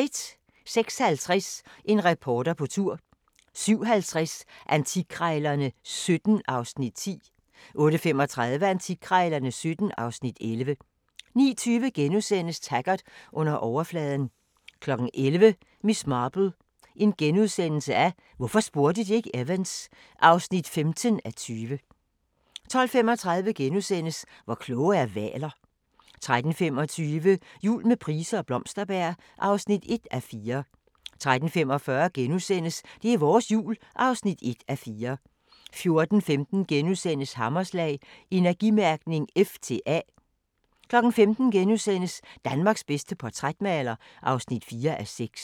06:50: En reporter på tur 07:50: Antikkrejlerne XVII (Afs. 10) 08:35: Antikkrejlerne XVII (Afs. 11) 09:20: Taggart: Under overfladen * 11:00: Miss Marple: Hvorfor spurgte de ikke Evans? (15:20) 12:35: Hvor kloge er hvaler? * 13:25: Jul med Price og Blomsterberg (1:4) 13:45: Det er vores Jul (1:4)* 14:15: Hammerslag - Energimærkning F til A * 15:00: Danmarks bedste portrætmaler (4:6)*